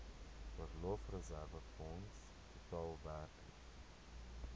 verlofreserwefonds totaal werklik